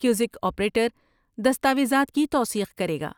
کزک operator دستاویزات کی توثیق کرے گا۔